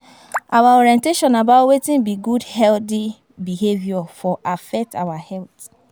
Our orientation about wetin be good healthy behavior for affect our health